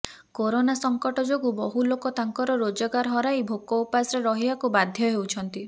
corona ସଙ୍କଟ ଯୋଗୁଁ ବହୁ ଲୋକ ତାଙ୍କର ରୋଜଗାର ହରାଇ ଭୋକ ଉପାସରେ ରହିବାକୁ ବାଧ୍ୟ ହେଉଛନ୍ତି